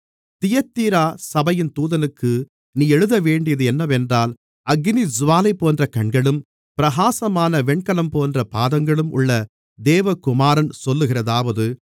தியத்தீரா சபையின் தூதனுக்கு நீ எழுதவேண்டியது என்னவென்றால் அக்கினிஜூவாலை போன்ற கண்களும் பிரகாசமான வெண்கலம்போன்ற பாதங்களும் உள்ள தேவகுமாரன் சொல்லுகிறதாவது